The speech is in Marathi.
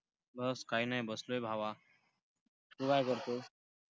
बस, काय नाही बसलोय भावा. तू काय करतो?